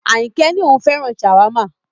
Ayinke ní òun féràn shawarma